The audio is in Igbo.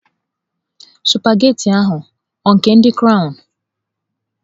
Sụpaghetị ahụ ọ nke ndị crọwnu?